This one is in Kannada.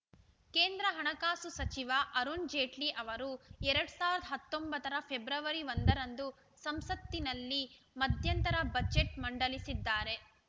ಕೇಂದ್ರ ಹಣಕಾಸು ಸಚಿವ ಅರುಣ್‌ ಜೇಟ್ಲಿ ಅವರು ಎರಡ್ ಸಾವಿರದ ಹತ್ತೊಂಬತ್ತರ ಫೆಬ್ರವರಿ ಒಂದ ರಂದು ಸಂಸತ್ತಿನಲ್ಲಿ ಮಧ್ಯಂತರ ಬಜೆಟ್‌ ಮಂಡಲಿಸಿದ್ದಾರೆ